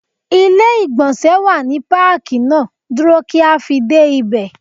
Ilé ìgbọ̀nsẹ̀ wà ní Pákì náà, dúró kí a fi dé ibẹ̀.